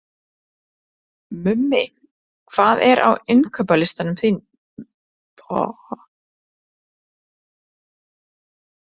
Mummi, hvað er á innkaupalistanum mínum?